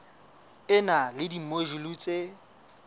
e na le dimojule tse